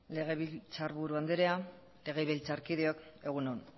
legebiltzarburu andrea legebiltzarkideok egun on